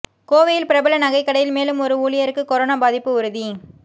கோவையில் பிரபல நகைக்கடையில் மேலும் ஒரு ஊழியருக்கு கொரோனா பாதிப்பு உறுதி